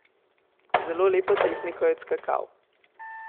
Z zelo lepo tehniko je odskakal.